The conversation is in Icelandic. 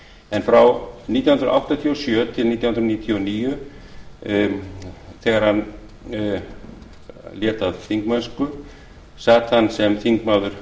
en frá nítján hundruð áttatíu og sjö til nítján hundruð níutíu og níu þegar hann lét af þingmennsku sat hann sem þingmaður